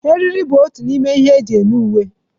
Eriri bụ otu n'ime ihe eji eme uwe.